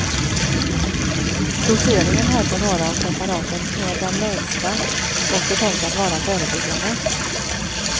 Doseringen här på några av preparaten är den lägsta och är tänkt att vara förebyggande.